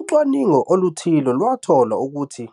Ucwaningo oluthile lwathola ukuthi